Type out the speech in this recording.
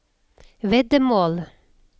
veddemål